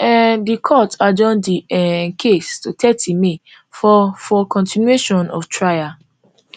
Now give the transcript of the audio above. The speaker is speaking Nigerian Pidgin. um di court adjourn di um case to thirty may for for continuation of trial